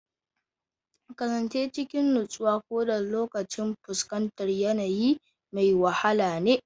Kasance cikin nutsuwa, koda lokacin fuskantar yanayi mai wahala ne.